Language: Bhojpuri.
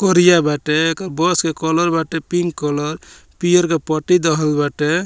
करिया बाटे एकर बस के कलर बाटे पिंक कलर पियर के पट्टी देहल बाटे।